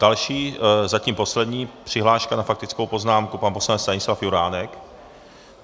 Další, zatím poslední přihláška na faktickou poznámku pan poslanec Stanislav Juránek.